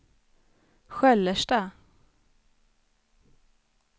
Sköllersta